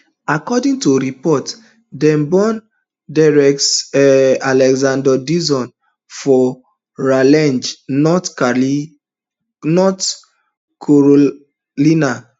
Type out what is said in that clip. according to reports dem born derek um alexander dixon for raleigh north carolina